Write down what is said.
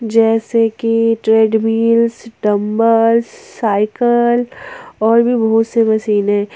जैसे कि treadmills dumbbells cycle और भी बहुत से मशीनें--